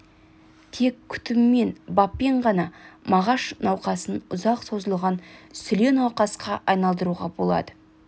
тек күтіммен баппен ғана мағаш науқасын ұзақ созылған сүле науқасқа айналдыруға болады